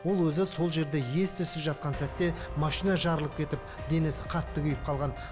ол өзі сол жерде ес түссіз жатқан сәтте машина жарылып кетіп денесі қатты күйіп қалған